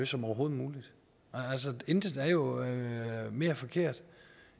som overhovedet muligt intet er jo mere forkert